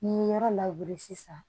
N'i ye yɔrɔ labure sisan